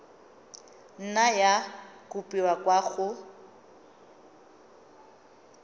nna ya kopiwa kwa go